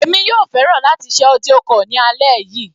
Èmi yóò fẹ́ràn láti ṣe audio call ní alẹ́ yìí.